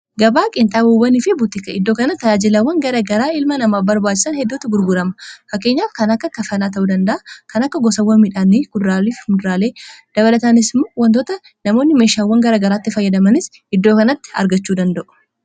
gaba qinxaboowwanii fi butika iddoo kana tajaajilawwan garagaraa ilma namaa barbaachisan heddutu gurgurama fakkeenyaaf kana akka kafanaa ta'uu danda'a kan akka gosawwa midhaanii kudaraaleef muduraaleefi dabalataanis wantoota namoonni meeshaawwan garagaraatti fayyadamanis iddoo kanatti argachuu danda'u.